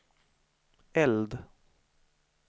eld